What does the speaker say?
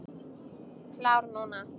Klár núna.